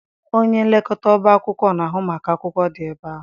Onye nlekọta ọba akwụkwọ na-ahụ maka akwụkwọ dị ebe ahụ.